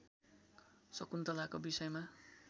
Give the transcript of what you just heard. शकुन्तलाका विषयमा